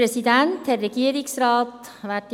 Kommissionssprecherin der GSoK.